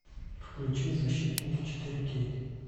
включи защитники четыре кей